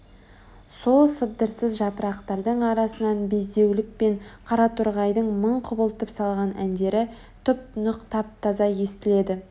сол сыбдырсыз жапырақтардың арасынан безілдеуік пен қараторғайлардың мың құбылтып салған әндері тұп-тұнық тап-таза естіледі